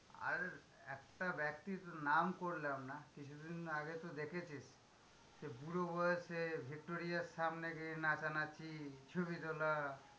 আর একটা ব্যক্তির নাম করলাম না, কিছুদিন আগে তো দেখেছি সে, বুড়ো বয়েসে ভিক্টোরিয়ার সামনে গিয়ে নাচানাচি, ছবি তোলা।